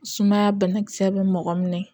Sumaya banakisɛ bɛ mɔgɔ minɛ